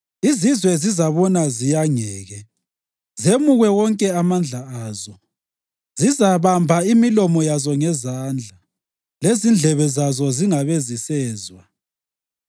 Izizwe zizabona ziyangeke, zemukwe wonke amandla azo. Zizabamba imilomo yazo ngezandla, lezindlebe zazo zingabe zisezwa.